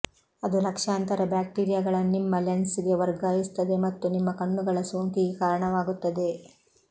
ಅದು ಲಕ್ಷಾಂತರ ಬ್ಯಾಕ್ಟೀರಿಯಾಗಳನ್ನು ನಿಮ್ಮ ಲೆನ್ಸ್ಗೆ ವರ್ಗಾಯಿಸುತ್ತದೆ ಮತ್ತು ನಿಮ್ಮ ಕಣ್ಣುಗಳ ಸೋಂಕಿಗೆ ಕಾರಣವಾಗುತ್ತದೆ